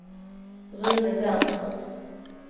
Rune Berntsson